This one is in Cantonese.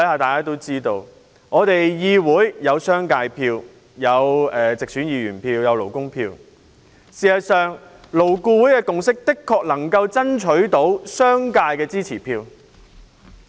大家都知道，議會有商界票、直選議員票及勞工票，而勞顧會的共識能夠爭取到商界的支持票。